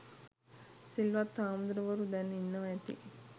සිල්වත් හාමුදුරුවරු දැන් ඉන්නවා ඇති